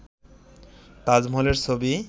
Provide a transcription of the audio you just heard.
তাজমহলের ছবি